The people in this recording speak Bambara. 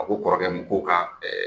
A ko kɔrɔkɛ ma ko ka ɛɛ